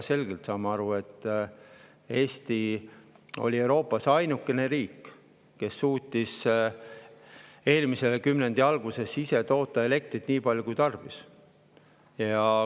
Me ju saame aru, et Eesti oli Euroopas ainuke riik, kes suutis eelmise kümnendi alguses ise toota elektrit nii palju, kui tarbis.